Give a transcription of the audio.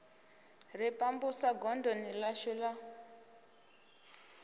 ri pambusa godoni ḽashu la